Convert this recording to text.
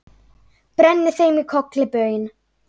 brenni þeim í kolli baun